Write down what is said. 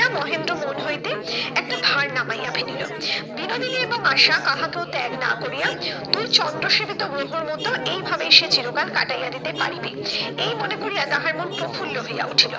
মহেন্দ্র মন হইতে একটা ভার নামাইয়া ফেলিলো। বিনোদিনী এবং আশা কাহাকেও ত্যাগ না করিয়া, দুই চন্দ্র সেবিত গ্রহর মতো এই ভাবেই সে চিরকাল কাটাইয়া দিতে পারিবে এই মনে করিয়া তাহার মন প্রফুল্ল হইয়া উঠিল।